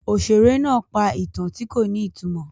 Òṣèré náà pa ìtàn tí kò ní ìtumọ̀.